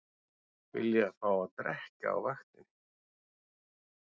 Vilja fá að drekka á vaktinni